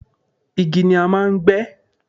igi ni a máà ń gbé